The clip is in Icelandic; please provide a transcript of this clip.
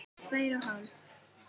Tvær og hálf.